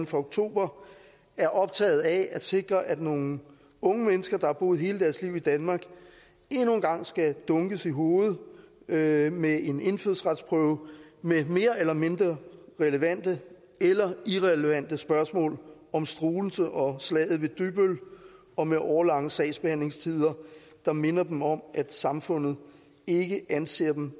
fra oktober er optaget af at sikre at nogle unge mennesker der har boet hele deres liv i danmark endnu en gang skal dunkes i hovedet med med en indfødsretsprøve med mere eller mindre relevante eller irrelevante spørgsmål om struensee og slaget ved dybbøl og med årelange sagsbehandlingstider der minder dem om at samfundet ikke anser dem